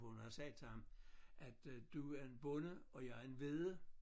Hun havde sagt til ham at øh du er en bonde og jeg en vedde